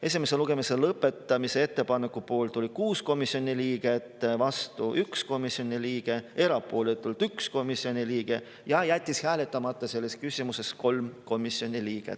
Esimese lugemise lõpetamise ettepaneku poolt oli 6 komisjoni liiget, vastu 1 komisjoni liige, erapooletu 1 komisjoni liige ja jättis hääletamata 3 komisjoni liiget.